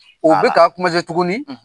U be k'a tuguni.